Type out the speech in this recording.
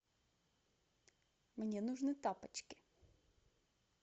мне нужны тапочки